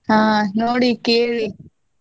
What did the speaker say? ಆಹ್ ಆಹ್ ನೋಡಿ ಕೇಳಿ.